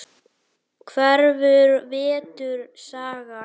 Krefur vetur sagna.